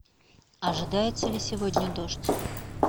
ожидается ли сегодня дождь